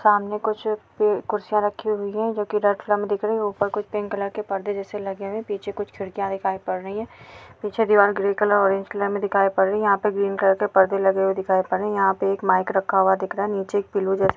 सामने कुछ प कुर्सियाँ रखी हुई है जोकि रेड कलर में दिख रही है ऊपर कुछ पिंक कलर के पर्दे जैसे लगे हुए है पीछे कुछ खिड़कियाँ दिखाई पड़ रही है पीछे दीवाल ग्रे कलर ऑरेंज कलर में दिखाई पड़ रही है यहाँ पे ग्रीन कलर के पर्दे लगे हुए दिखाई पड़ रहे है यहाँ पे एक माइक रखा हुआ दिख रा है नीचे एक पिलो जैसे --